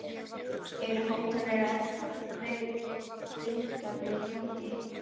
Eru hótanir eða þvinganir í gangi?